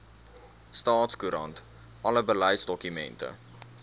staatskoerant alle beleidsdokumente